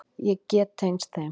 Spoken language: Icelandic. Ég get tengst þeim.